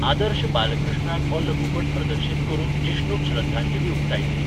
आदर्श बालकृष्णान हो लघुपट प्रदर्शीत करून जिष्णूक श्रद्धांजली उक्तायिल्ली.